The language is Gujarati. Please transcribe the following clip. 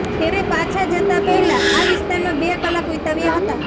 તેમણે પાછા જતાં પહેલાં આ વિસ્તારમાં બે કલાક વીતાવ્યાં હતાં